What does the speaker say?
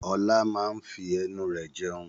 Ọlá máa n fi ẹnu rẹ jẹun